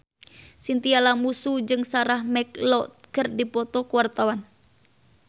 Chintya Lamusu jeung Sarah McLeod keur dipoto ku wartawan